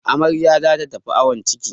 Amarya za ta tafi awon ciki.